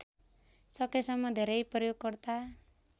सकेसम्म धेरै प्रयोगकर्ता